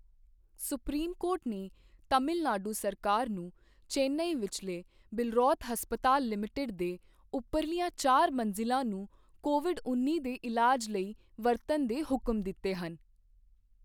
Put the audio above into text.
Supreme court ਨੇ ਤਮਿਲ ਨਾਡੂ ਸਰਕਾਰ ਨੂੰ ਚੇਨਈ ਵਿਚਲੇ ਬਿੱਲਰੋਥ ਹਸਪਤਾਲ ਲਿਮਟਿਡ ਦੇ ਉਪਰਲੀਆਂ ਚਾਰ ਮੰਜ਼ਿਲਾ ਨੂੰ ਕੋਵਿਡ ਉੱਨੀ ਦੇ ਇਲਾਜ ਲਈ ਵਰਤਣ ਦੇ ਹੁਕਮ ਦਿੱਤੇ ਹਨ।